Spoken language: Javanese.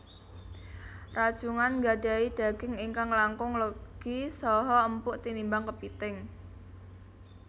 Rajungan nggadhahi daging ingkang langkung legi saha empuk tinimbang kepithing